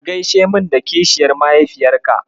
Ka gaishe min da kishiyar mahaifiyarka.